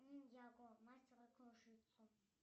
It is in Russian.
ниндзяго мастера кружитцу